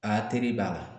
Aa teri b'a la